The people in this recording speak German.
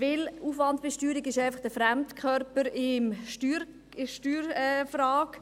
Denn Aufwandbesteuerung ist einfach ein Fremdkörper in der Steuerfrage.